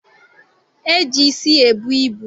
E ji isi ebu ibu.